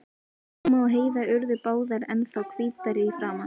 Mamma og Heiða urðu báðar ennþá hvítari í framan.